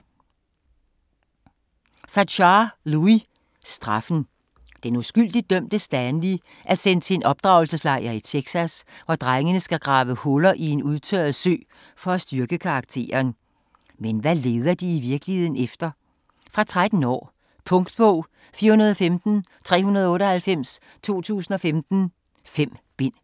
Sachar, Louis: Straffen Den uskyldigt dømte Stanley er sendt til en opdragelseslejr i Texas, hvor drengene skal grave huller i en udtørret sø for at styrke karakteren. Men hvad leder de i virkeligheden efter? Fra 13 år. Punktbog 415398 2015. 5 bind.